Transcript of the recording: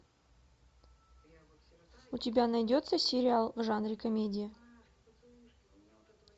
у тебя найдется сериал в жанре комедия